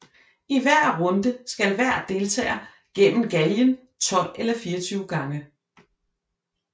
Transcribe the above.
I hver runde skal hver deltager gennem galgen 12 eller 24 gange